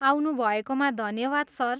आउनु भएकोमा धन्यवाद सर ।